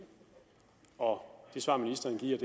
og det svar ministeren giver